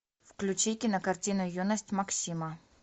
включи кинокартину юность максима